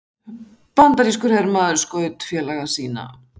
Bandarískur hermaður skaut félaga sína